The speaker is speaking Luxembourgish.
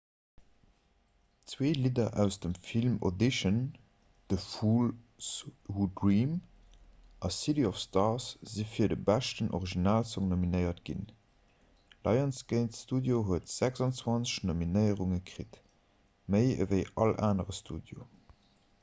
zwee lidder aus dem film audition the fools who dream a city of stars si fir de beschten originalsong nominéiert ginn. lionsgate studio huet 26 nominéierunge kritt – méi ewéi all anere studio